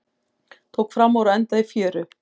Tók framúr og endaði í fjöru